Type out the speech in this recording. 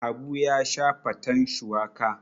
Habu ya sha faten shuwaka.